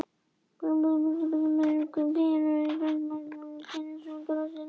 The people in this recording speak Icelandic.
Umhverfis píanóið safnaðist ungviðið og kyrjaði söngva sína